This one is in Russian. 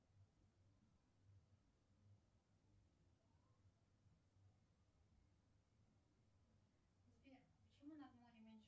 сбер почему над морем меньше